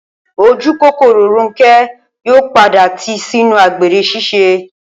Ojúkòkòrò Rónké̩ yóò padà tìí sínú àgbèrè s̩ís̩e